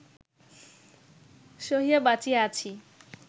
সহিয়া বাঁচিয়া আছি